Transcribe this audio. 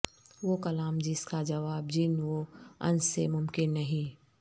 وہ کلام جس کا جواب جن و انس سےممکن نہیں